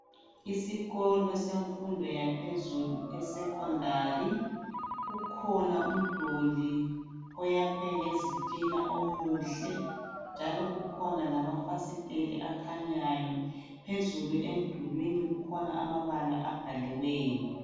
Isikolo semfundo yaphezulu iSecondary. Kukhona umduli oyakhwe ngezitina omuhle njalo kukhona lamafasitela akhanyayo. Phezulu emdulwini kukhona amabala abhaliweyo.